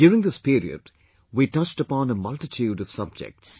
During this period, we touched upon a multitude of subjects